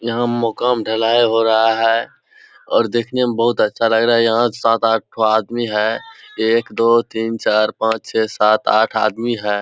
यहां मकान ढलाई हो रहा है और देखने मे बहुत अच्छा लग रहा है यहां सात आठ ठो आदमी है। एक दो तीन चार पाच छे सात आठ आदमी है।